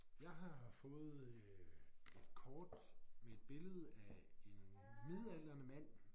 Jeg har fået øh et kort med et billede af en midaldrende mand